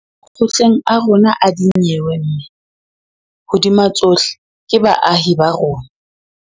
Makgotleng a rona a dinyewe mme, hodima tsohle, ke baahi ba rona.